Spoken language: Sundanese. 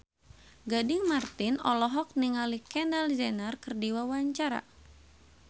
Gading Marten olohok ningali Kendall Jenner keur diwawancara